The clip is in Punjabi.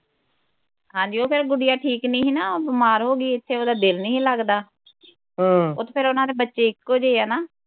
ਹਾਂਜੀ ਓਹ ਫਿਰ ਗੁਡਿਆ ਠੀਕ ਨਹੀਂ ਨਾ ਉਹ ਬਿਮਾਰ ਹੋ ਗਈ ਇਥੇ ਉਹਦਾ ਦਿਲ ਨਹੀ ਲੱਗਦਾ ਉਹ ਫਿਰ ਉਨ੍ਹਾਂ ਦੇ ਬੱਚੇ ਇਕੋ ਜੇ ਆ ਨਾ